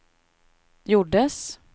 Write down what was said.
gjordes